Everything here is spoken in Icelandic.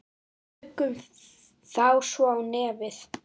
Tökum þá svo í nefið!